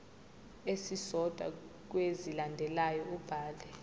esisodwa kwezilandelayo ubhale